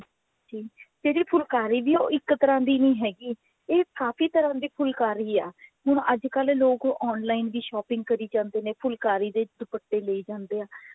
ਤੇ ਫੁਲਕਾਰੀ ਵੀ ਹੈ ਉਹ ਇੱਕ ਤਰ੍ਹਾਂ ਦੀ ਨਹੀਂ ਹੈਗੀ ਇਹ ਕਾਫੀ ਤਰ੍ਹਾਂ ਦੀ ਫੁਲਕਾਰੀ ਹੈ ਹੁਣ ਅੱਜਕਲ ਲੋਕ online ਵੀ shopping ਕਰੀ ਜਾਂਦੇ ਨੇ ਫੁਲਕਾਰੀ ਦੇ ਦੁਪੱਟੇ ਲਈ ਜਾਂਦੇ ਆ